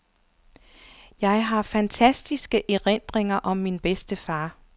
Jeg har fantastiske erindringer om min bedstefar.